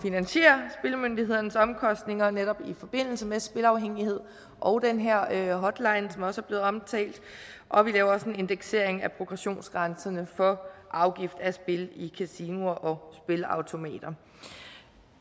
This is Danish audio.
at omkostninger netop i forbindelse med spilafhængighed og den her hotline som også er blevet omtalt og vi laver også en indeksering af progressionsgrænserne for afgift af spil i kasinoer og spilleautomater